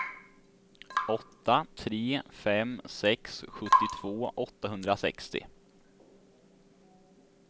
åtta tre fem sex sjuttiotvå åttahundrasextio